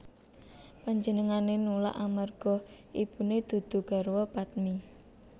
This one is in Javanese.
Panjenengané nulak amarga ibuné dudu garwa padmi